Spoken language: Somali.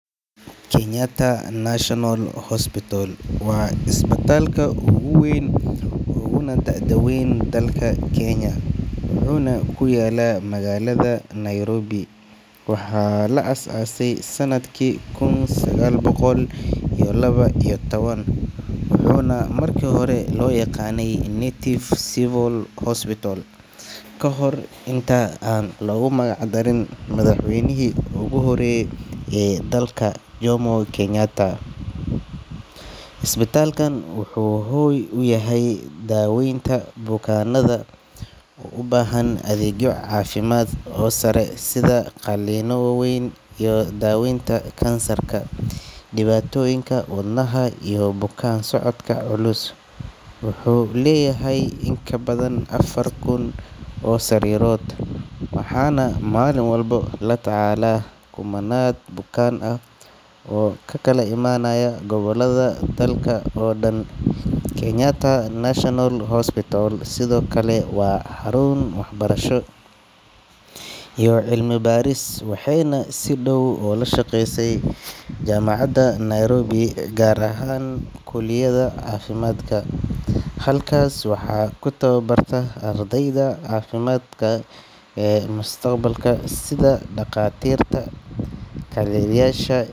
Kenyatta National Hospital waa isbitaalka ugu weyn uguna da’da weyn dalka Kenya, wuxuuna ku yaallaa magaalada Nairobi. Waxaa la aasaasay sanadkii kun sagaal boqol iyo laba iyo toban, wuxuuna markii hore loo yaqaannay Native Civil Hospital, ka hor inta aan loogu magac darin madaxweynihii ugu horreeyay ee dalka, Jomo Kenyatta. Isbitaalkan wuxuu hoy u yahay daaweynta bukaanada u baahan adeegyo caafimaad oo sare sida qalliinno waaweyn, daaweynta kansarka, dhibaatooyinka wadnaha iyo bukaan-socodka culus. Wuxuu leeyahay in ka badan afar kun oo sariirood, waxaana maalin walba la tacaalaa kumannaan bukaan ah oo ka kala imanaya gobollada dalka oo dhan. Kenyatta National Hospital sidoo kale waa xarun waxbarasho iyo cilmi baaris, waxayna si dhow ula shaqeysaa jaamacadda Nairobi gaar ahaan kulliyadda caafimaadka. Halkaas waxaa ku tababarta ardayda caafimaadka ee mustaqbalka sida dhakhaatiirta, kalkaaliyeyaasha.